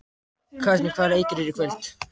Katrín, hvaða leikir eru í kvöld?